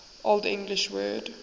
old english word